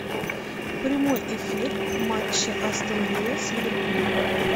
прямой эфир матча астон вилла с ливерпулем